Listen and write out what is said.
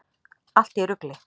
Allt í rugli!